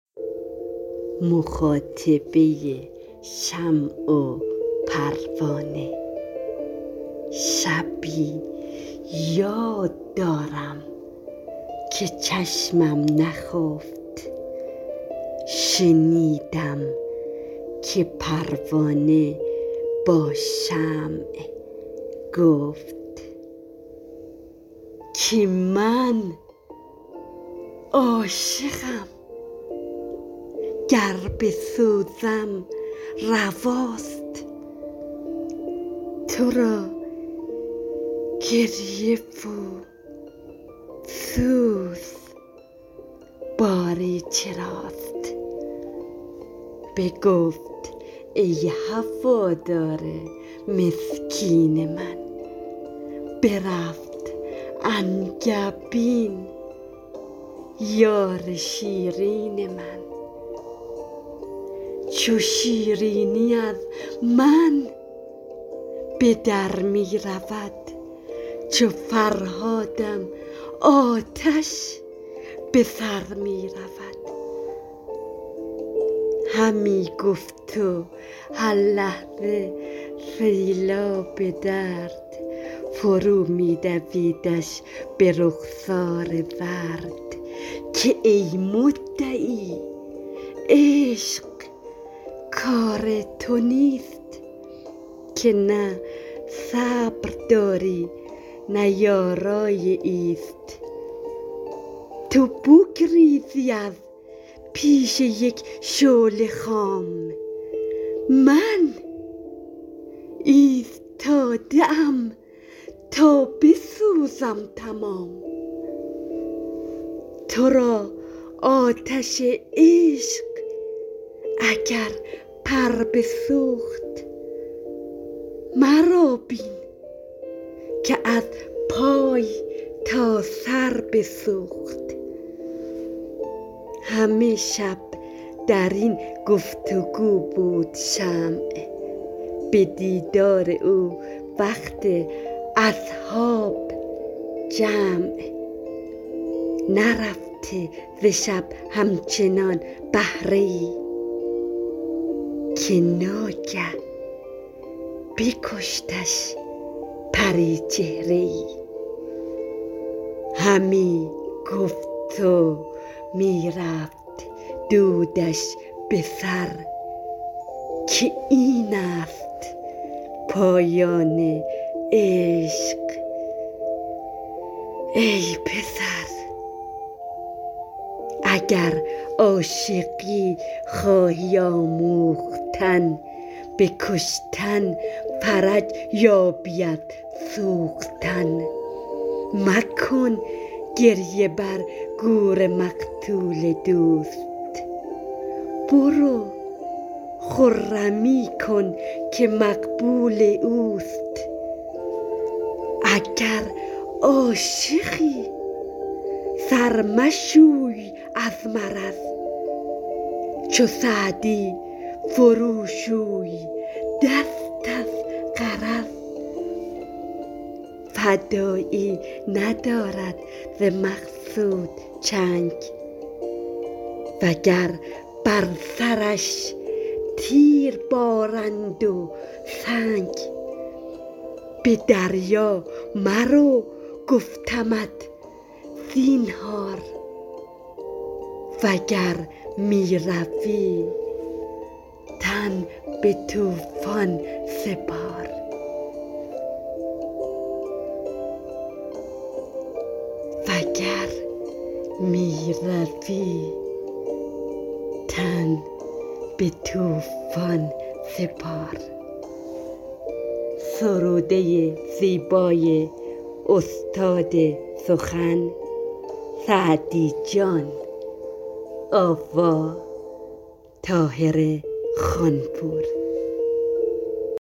شبی یاد دارم که چشمم نخفت شنیدم که پروانه با شمع گفت که من عاشقم گر بسوزم رواست تو را گریه و سوز باری چراست بگفت ای هوادار مسکین من برفت انگبین یار شیرین من چو شیرینی از من به در می رود چو فرهادم آتش به سر می رود همی گفت و هر لحظه سیلاب درد فرو می دویدش به رخسار زرد که ای مدعی عشق کار تو نیست که نه صبر داری نه یارای ایست تو بگریزی از پیش یک شعله خام من استاده ام تا بسوزم تمام تو را آتش عشق اگر پر بسوخت مرا بین که از پای تا سر بسوخت همه شب در این گفت و گو بود شمع به دیدار او وقت اصحاب جمع نرفته ز شب همچنان بهره ای که ناگه بکشتش پریچهره ای همی گفت و می رفت دودش به سر که این است پایان عشق ای پسر اگر عاشقی خواهی آموختن به کشتن فرج یابی از سوختن مکن گریه بر گور مقتول دوست برو خرمی کن که مقبول اوست اگر عاشقی سر مشوی از مرض چو سعدی فرو شوی دست از غرض فدایی ندارد ز مقصود چنگ و گر بر سرش تیر بارند و سنگ به دریا مرو گفتمت زینهار وگر می روی تن به طوفان سپار